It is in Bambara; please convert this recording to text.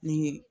Ni